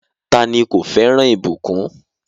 Táni kò fẹran ibùkún?